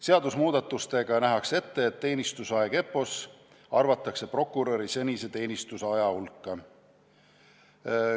Seadusemuudatustega nähakse ette, et teenistusaeg EPPO-s arvatakse prokuröri senise teenistusaja hulka.